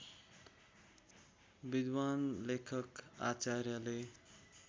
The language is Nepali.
विद्वान् लेखक आचार्यले